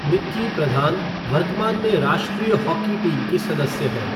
निक्की प्रधान वर्तमान में राष्ट्रीय हॉकी टीम की सदस्य हैं।